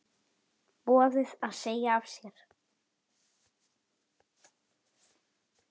Boðið að segja af sér?